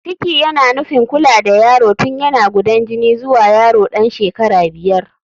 Ciki yana nufin kula da yaro tun yana gudan jini zuwa yaro ɗan shekara biyar.